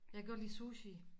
Jeg kan godt lide sushi